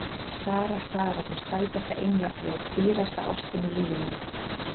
Sara, Sara, þú sæta englafljóð, dýrasta ástin í lífi mínu.